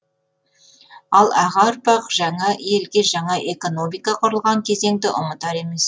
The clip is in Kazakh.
ал аға ұрпақ жаңа елде жаңа экономика құрылған кезеңді ұмытар емес